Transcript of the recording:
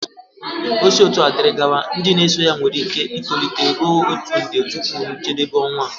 O si otua diri gawa, ndị na-eso ya nwere ike itolite ruo otu nde tupu njedebe ọnwa a